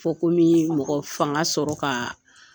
Fɔ ko bɛ mɔgɔ fanga sɔrɔ ka